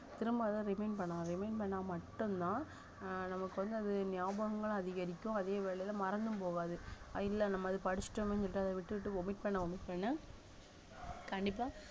திரும்ப அத remind பண்ணணும் remind பண்ணா மட்டும்தான் ஆஹ் நமக்கு வந்து அது ஞாபகங்களும் அதிகரிக்கும் அதே வேளையில மறந்தும் போகாது இல்ல நம்ம அத படிச்சுட்டோமேன்னு சொல்லிட்டு அத விட்டுட்டு omit பண்ண omit பண்ண கண்டிப்பா